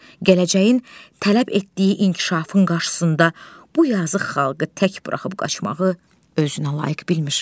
Gələcəyin tələb etdiyi inkişafın qarşısında bu yazıq xalqı tək buraxıb qaçmağı özünə layiq bilmir.